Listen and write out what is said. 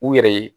U yɛrɛ ye